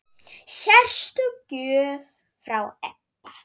Sérstök gjöf frá Ebba.